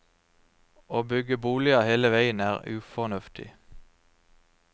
Å bygge boliger hele veien er ufornuftig.